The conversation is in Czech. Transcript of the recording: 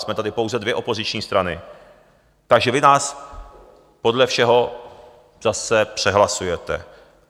Jsme tady pouze dvě opoziční strany, takže vy nás podle všeho zase přehlasujete.